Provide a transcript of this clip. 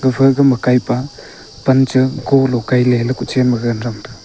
gafa gama kei pe pan cha golo kei le kuchen ma gagan thamga.